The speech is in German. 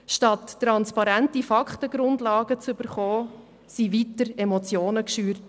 Statt eine transparente Faktenlage zu bekommen, wurden weiter Emotionen geschürt.